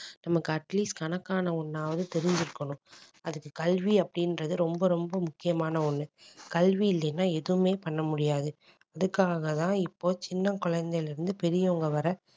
நமக்கு at least கணக்கான ஒண்ணாவது தெரிஞ்சிருக்கணும் அதுக்கு கல்வி அப்படின்றது ரொம்ப ரொம்ப முக்கியமான ஒண்ணு கல்வி இல்லைன்னா எதுவுமே பண்ண முடியாது அதுக்காகதான் இப்போ சின்ன குழந்தையில இருந்து பெரியவங்க வரை